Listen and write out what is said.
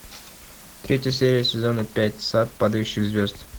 третья серия сезона пять сад падающих звезд